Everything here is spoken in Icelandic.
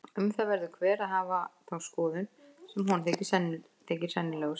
Um það verður hver að hafa þá skoðun sem honum þykir sennilegust.